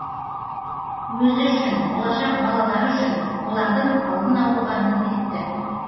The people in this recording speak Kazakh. өзі үшін болашақ балалары үшін олардың алдын алуға міндетті